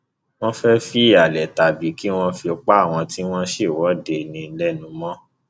wọn fẹẹ fi halẹ tàbí kí wọn fi pa àwọn tí wọn ń ṣèwọde ní lẹnu mọ